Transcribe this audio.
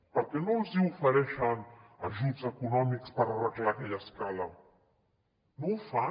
per què no els ofereixen ajuts econòmics per arreglar aquella escala no ho fan